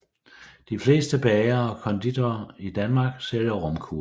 De fleste bagere og konditorer i Danmark sælger romkugler